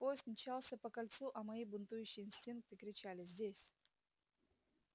поезд мчался по кольцу а мои бунтующие инстинкты кричали здесь